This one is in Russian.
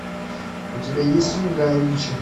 у тебя есть фильм гая ричи